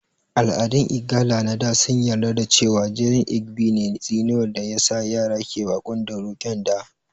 Al'adun Igala na da sun yarda da cewa jinin Inigɓi ne tsinuwar da ya sa yara ke baƙon dauro (ƙyanda)